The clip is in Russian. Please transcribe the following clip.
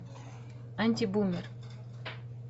антибумер